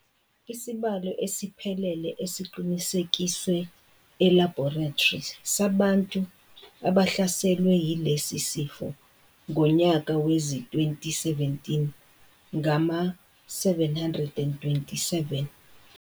Isibalo esiphelele esiqinisekiswe elabhorethri sabantu abahlaselwe yilesi sifo ngonyaka wezi2017 ngama-727.